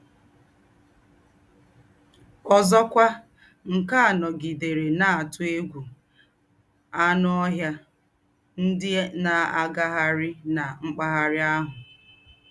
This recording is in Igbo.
Ọ́zọ́kwà, à ká nọ̀gidérè nà-àtú égwú ànù ọ́hịà ndí́ nà-àgághárí nà m̀pagharà àhù.